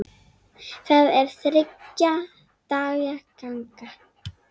Það er þriggja daga ganga.